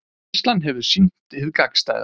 Reynslan hefur sýnt hið gagnstæða